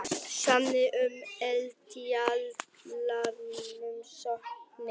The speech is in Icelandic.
Sameinast um eldfjallarannsóknir